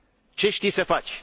ce știi să faci?.